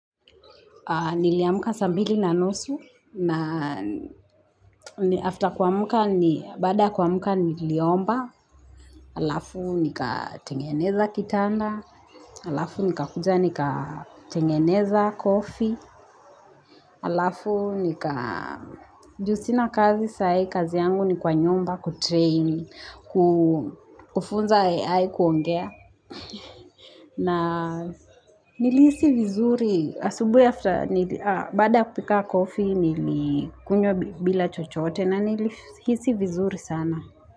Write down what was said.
Niliamka saa mbili na nusu na after kuamka ni baada kuamka niliomba halafu nikatengeneza kitanda halafu nikakuja nikatengeneza kofi halafu nika juusina kazi sayi kazi yangu ni kwa nyumba kutrain kufunza AI kuongea. Na niliisi vizuri, bada kupika kofi nilikunywa bila chochote na nilihisi vizuri sana.